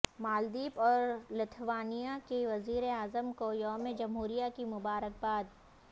مالدیپ اور لتھوانیا کی وزیراعظم کو یوم جمہوریہ کی مبارکباد